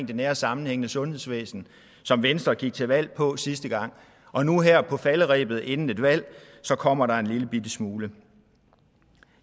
det nære og sammenhængende sundhedsvæsen som venstre gik til valg på sidste gang og nu her på falderebet inden et valg kommer der en lillebitte smule